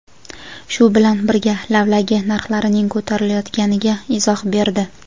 shu bilan birga lavlagi narxlarining ko‘tarilayotganiga izoh berdi.